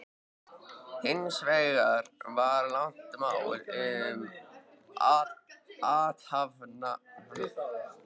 Hins vegar var langt mál um athafnamanninn